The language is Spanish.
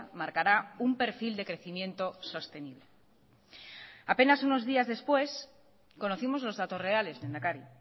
marcará un perfil de crecimiento sostenible apenas unos días después conocimos los datos reales lehendakari